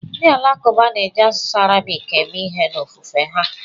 Ndị Alakụba na-eji asụsụ Arabik eme ihe n'ofufe ha.